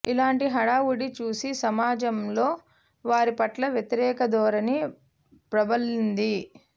ఇలాటి హడావుడి చూసి సమాజంలో వారి పట్ల వ్యతిరేక ధోరణి ప్రబలింది